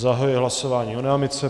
Zahajuji hlasování o námitce.